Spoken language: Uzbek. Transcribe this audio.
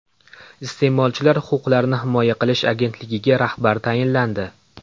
Iste’molchilar huquqlarini himoya qilish agentligiga rahbar tayinlandi.